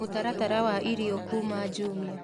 mũtaratara wa irĩo kũma jumia